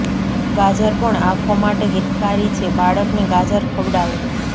ગાજર પણ આંખો માટે હિતકારી છે બાળકને ગાજર ખવડાવો